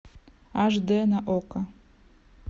аш дэ на окко